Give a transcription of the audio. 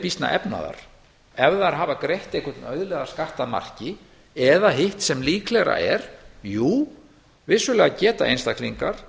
býsna efnaðar ef þær hafa greitt einhvern auðlegðarskatt að marki eða hitt sem líklegra er jú vissulega geta einstaklingar